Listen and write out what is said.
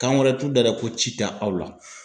Kan wɛrɛ t'u da dɛ ko ci tɛ aw la.